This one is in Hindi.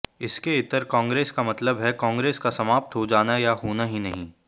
इसके इतर कांग्रेस का मतलब है कांगे्रस का समाप्त हो जाना या होना ही नहीं